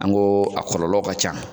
An ko a kɔlɔlɔ ka ca